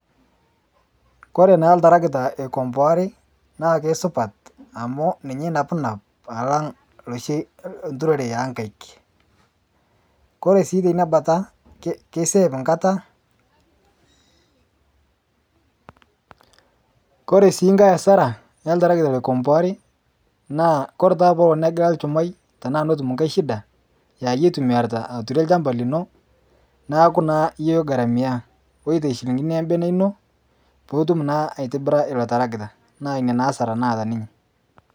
Kore naa iltarakita oikomboare naa kesupat amu ninye naa onap alang loshi lturore onkaik. Kore si teinabata keiseef enkata. Kore sii nkae asara e iltarakita oikomboari naa kore taata peelo negila ilchumai tana nelo netum nkae shida aa iyie oitumiyarita aturie ilchamba lino naaku naa iyie oigaramia, oitei shilingini naa olbene lino piitum naa aitobira tarakitaa naa ina naa asara naata ninye.